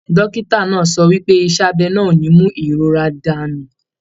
Dókítà náà sọ wípé iṣẹ abẹ náà o ní mú ìrora dànù.